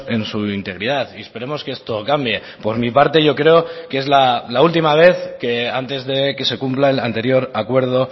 en su integridad y esperemos que esto cambie por mi parte yo creo que es la última vez que antes de que se cumpla el anterior acuerdo